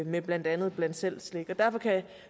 med blandt andet bland selv slik derfor kan